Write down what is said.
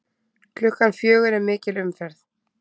Klukkan fjögur er mikil umferð.